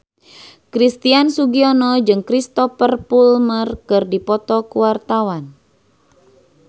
Christian Sugiono jeung Cristhoper Plumer keur dipoto ku wartawan